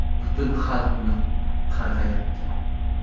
Butun xalq uni qarg‘ayapti.